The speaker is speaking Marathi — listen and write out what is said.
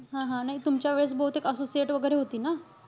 हा हा. नाई तुमच्या वेळेस बहुतेक associate वगैरे होती ना?